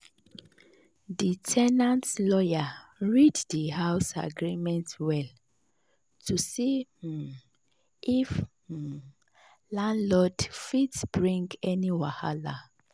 the ten ant lawyer read the house agreement well to see um if um landlord fit bring any wahala.